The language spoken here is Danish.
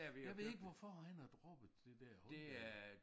Jeg ved ikke hvorfor han har droppet det der Hyundai